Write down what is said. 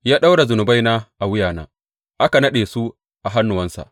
Ya ɗaura zunubaina a wuyana; aka naɗe su a hannuwansa.